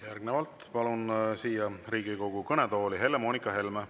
Järgnevalt palun siia Riigikogu kõnetooli Helle-Moonika Helme.